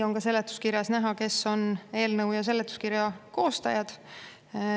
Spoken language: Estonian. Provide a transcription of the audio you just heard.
Ja seletuskirjas on näha, kes on eelnõu ja seletuskirja koostajad.